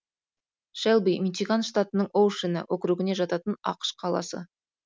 шэлби мичиган штатының оушена округіне жататын ақш қаласы